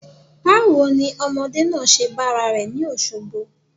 Báwo ni ọmọdé náà ṣe bára rẹ̀ ni Òṣogbo?